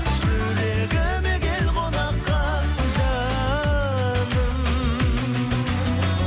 жүрегіме кел қонаққа жаным